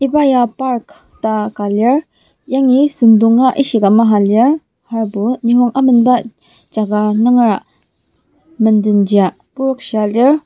iba ya park ta ka lir yangi süngdonga ishika maha lir aserbo nisung amenba jaka nungera mendenjia prokshia lir.